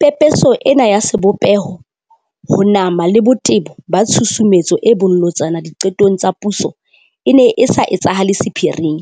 Pepeso ena ya sebopeho, ho nama le botebo ba tshusumetso e bolotsana diqetong tsa puso e ne e sa etsahale sephiring,